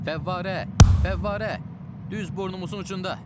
Fəvvarə! Fəvvarə! Düz burnumuzun ucunda!